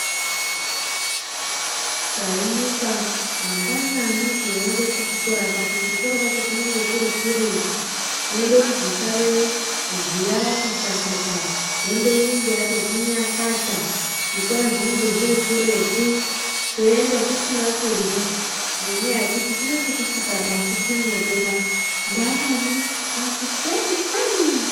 Tayimuka mangwanani teyiyenda kuchikora apa kuchikora kwacho kunenge kurikuretu. Unoda kuzosarewo ziya rati chakata, hembe inenge yatoti nyakata. Zvikora zvinenege zvirikuretu. Teyenda tisina kudlya ngenyaya yekuti kunenge kusingabasiki moto mangwanani , makuseni seni.